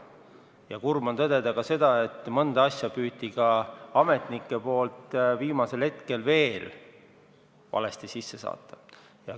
Ja kurb on tõdeda ka seda, et mõnda asja püüdsid ametnikud veel viimasel hetkel valesti esitada.